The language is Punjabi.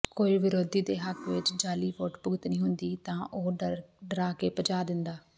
ਕੋਈ ਵਿਰੋਧੀ ਦੇ ਹੱਕ ਵਿੱਚ ਜਾਅਲੀ ਵੋਟ ਭੁਗਤਣੀ ਹੁੰਦੀ ਤਾਂ ਉਹ ਡਰਾ ਕੇ ਭਜਾ ਦਿੰਦਾ